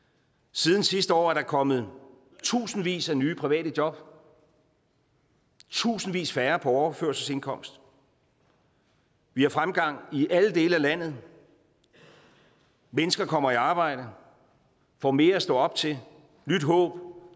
siden sidste år er der kommet tusindvis af nye private job tusindvis færre på overførselsindkomst vi har fremgang i alle dele af landet mennesker kommer i arbejde får mere at stå op til nyt håb og